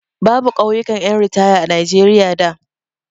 Babu ƙauyukan ƴan ritaya a Najeriya da.